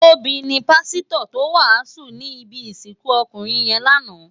Tobi ni pàsitò tó wásùn ni ibi isikun ókúnrin yèn láná